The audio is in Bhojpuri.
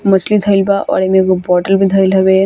मछली धेल बा और ए में एगो बॉटल भी धेल हवे।